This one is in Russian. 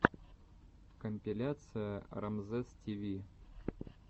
компиляция рамзесстиви